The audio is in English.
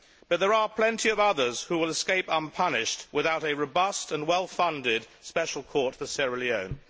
But there are plenty of others who will escape unpunished without a robust and well funded special court for Sierra Leone.